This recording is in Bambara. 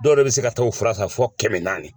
Dɔw yɛrɛ be se ka taa o fura san fo kɛmɛ naani.